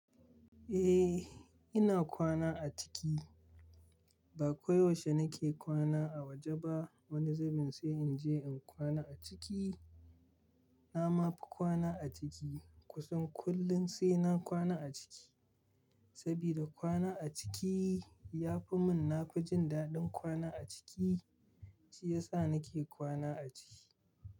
Eh, ina kwana a ciki. Ba ko yaushe nake kwana a waje ba. Wani zubin sai in je in kwana a ciki. Na ma fi kwana a ciki kusan kullun sai na kwana a ciki. Sabida kwana a ciki ya fi mun nafi jin daɗin kwana a ciki, shi ya sa nake kwana a ciki.